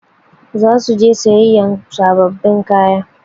Za su je sayayyan sababbin kaya.